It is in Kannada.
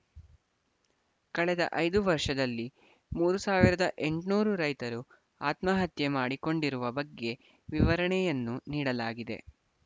ಕಳೆದ ಐದು ವರ್ಷದಲ್ಲಿ ಮೂರ್ ಸಾವಿರದ ಎಂಟುನೂರು ರೈತರು ಆತ್ಮಹತ್ಯೆ ಮಾಡಿಕೊಂಡಿರುವ ಬಗ್ಗೆ ವಿವರಣೆಯನ್ನು ನೀಡಲಾಗಿದೆ